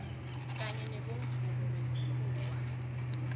kanye nobomvumo wesikhuwa